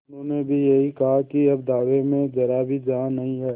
उन्होंने भी यही कहा कि अब दावे में जरा भी जान नहीं है